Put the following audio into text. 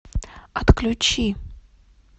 отключи